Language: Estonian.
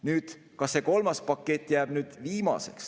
Nüüd, kas see kolmas pakett jääb viimaseks?